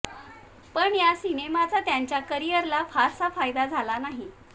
पण या सिनेमांचा त्यांच्या करिअरला फारसा फायदा झाला नाही